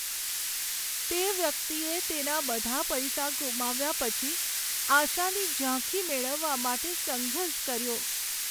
તે વ્યક્તિએ તેના બધા પૈસા ગુમાવ્યા પછી આશાની ઝાંખી મેળવવા માટે સંઘર્ષ કર્યો.